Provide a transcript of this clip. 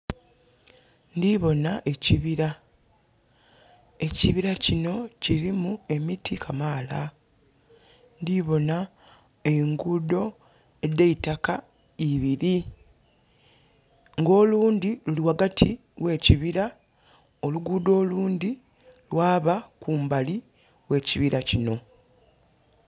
Ndhibona ekibira, ekibira kino kirimu emiti kamaala. Ndhibona engudo edheitaka ibiri nga olundhi luli ghagati oghekibira nga olundhi luli kumbali okwekibira kino.